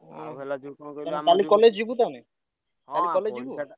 ହୁଁ କାଲି college ଯିବୁ ତାହେଲେ? କାଲି college ଯିବୁ?